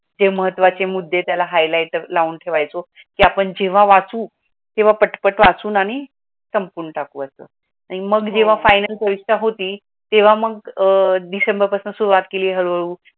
महत्त्वाचे मुद्दे त्याला highlighter लावून ठेवायचं की आपण जेव्हा वाचू किंवा पटपट वाचून आणि संपून टाकू मग जेव्हा फायनल परीक्षा होती तेव्हा मग अह डिसेंबर पासून सुरुवात केली हळूहळू